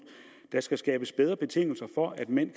der skal skabes bedre betingelser for at mænd